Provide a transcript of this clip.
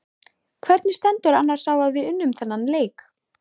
Hvernig stendur annars á að við unnum þennan leik?